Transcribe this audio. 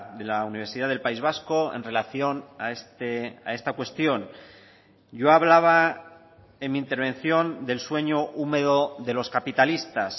de la universidad del país vasco en relación a esta cuestión yo hablaba en mi intervención del sueño húmedo de los capitalistas